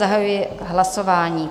Zahajuji hlasování.